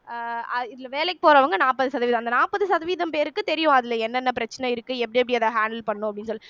அஹ் இதுல வேலைக்கு போறவங்க நாற்பது சதவீதம் அந்த நாற்பது சதவீதம் பேருக்கு தெரியும் அதுல என்னென்ன பிரச்சனை இருக்கு எப்படி எப்படி அத handle பண்ணணும் அப்படின்னு சொல்லி